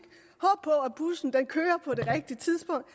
og at bussen kører på det rigtige tidspunkt